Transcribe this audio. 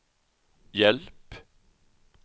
hjälp